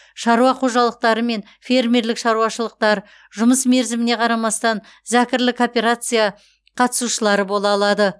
шаруа қожалықтары мен фермерлік шаруашылықтар жұмыс мерзіміне қарамастан зәкірлі кооперация қатысушылары бола алады